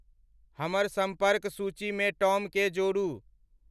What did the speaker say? हमर संपर्क सूचीमे टॉमकेँ जोड़ू